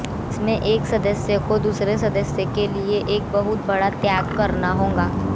जिसमें एक सदस्य को दूसरे सदस्य के लिए एक बहुत बड़ा त्याग करना होगा